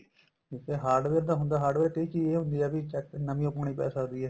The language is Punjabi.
ਇੱਕ ਤੇ hardware ਦਾ ਹੁੰਦਾ hardware ਇਹ ਚੀਜ਼ ਹੁੰਦੀ ਏ ਵੀ ਨਵੀ ਓ ਪਾਣੀ ਪੈ ਸਕਦੀ ਏ